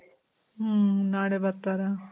ಮ್ಮ್. ನಾಳೆ ಬರ್ತಾರ?